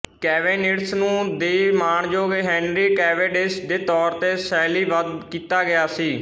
Cavendish ਨੂੰ the ਮਾਣਯੋਗ Henry Cavendish ਦੇ ਤੌਰ ਤੇ ਸ਼ੈਲੀਬੱਧ ਕੀਤਾ ਗਿਆ ਸੀ